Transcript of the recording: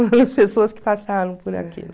pessoas que passaram por aquilo.